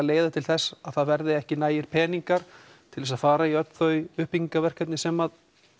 leiða til þess að það verði ekki nægjanlega miklir peningar til þess að fara í öll þau uppbyggingarverkefni sem